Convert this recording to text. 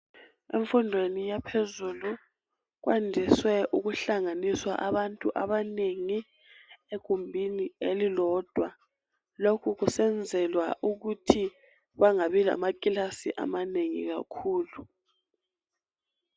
Emfundweni yaphezulu kwandiswe ukuhlanganiswa abantu abanengi egumbini elilodwa lokhu kusenzelwa ukuthi bangabi lamakilasi amanengi kakhulu.